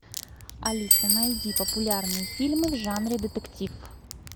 алиса найди популярные фильмы в жанре детектив